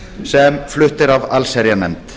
sem flutt er af allsherjarnefnd